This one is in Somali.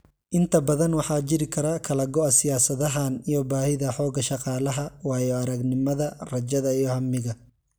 Inta badan waxaa jiri kara kala go'a siyaasadahan iyo baahida xoogga shaqaalaha, waayo-aragnimada, rajada, iyo hamiga.